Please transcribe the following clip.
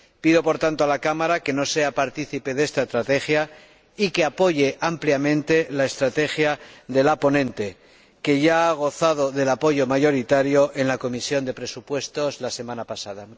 Pido, por tanto, a la Cámara que no sea partícipe de esta estrategia y apoye ampliamente la estrategia de la ponente, que ya ha gozado del apoyo mayoritario en la Comisión de Presupuestos la semana pasada.